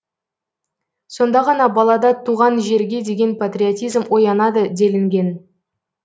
сонда ғана балада туған жерге деген патриотизм оянады делінген